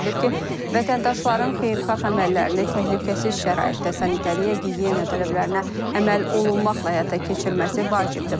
Bildirilib ki, vətəndaşların xeyirxah əməllərini təhlükəsiz şəraitdə, sanitariya-gigiyena tələblərinə əməl olunmaqla həyata keçirməsi vacibdir.